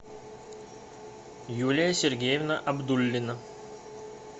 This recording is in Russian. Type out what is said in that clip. юлия сергеевна абдуллина